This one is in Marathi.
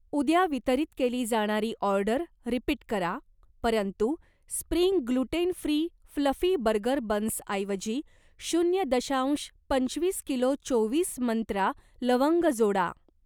उद्या वितरित केली जाणारी ऑर्डर रिपीट करा परंतु spring gluten free fluffy burger बन्सऐवजी शून्य दशांश पंचवीस किलो चोवीस मंत्रा लवंग जोडा.